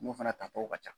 Mun fana ta tɔ ka ca